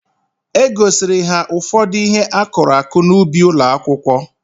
E gosiri ha ụfọdụ ihe akụrụ akụ n'ubi ụlọakwụkwọ